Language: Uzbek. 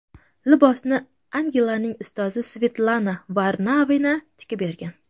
Libosni Angelinaning ustozi Svetlana Varnavina tikib bergan.